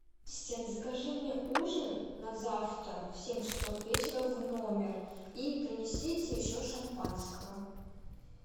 ассистент закажи мне ужин на завтра в семь часов вечера в номер и принесите еще шампанского